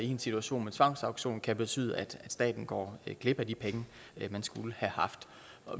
en situation med tvangsauktion kan betyde at staten går glip af de penge den skulle have haft